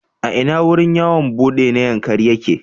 A ina wurin yawon buɗe na Yankari yake?